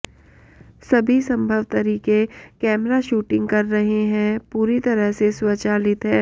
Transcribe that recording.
सभी संभव तरीके कैमरा शूटिंग कर रहे हैं पूरी तरह से स्वचालित है